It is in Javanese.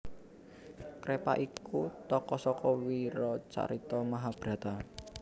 Krepa iku tokoh saka wiracarita Mahabharata